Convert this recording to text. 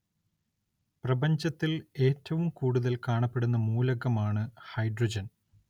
പ്രപഞ്ചത്തില്‍ ഏറ്റവും കൂടുതല്‍ കാണപ്പെടുന്ന മൂലകമാണ് ഹൈഡ്രജന്‍